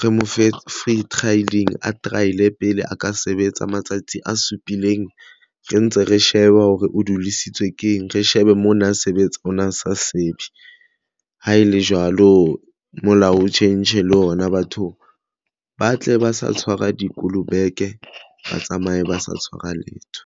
re mo fe free trial-ing a trial pele a ka sebetsa matsatsi a supileng re ntse re shebe hore o dudisitswe ke eng. Re shebe mona a sebetsa a na sa sebe ha e le jwalo molao o tjhentjhe le ona batho ba tle ba sa tshwara dikolobeke ba tsamaye ba sa tshwara letho.